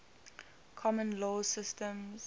common law systems